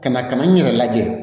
Ka na ka na n yɛrɛ lajɛ